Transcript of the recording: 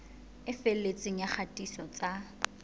e felletseng ya kgatiso tsa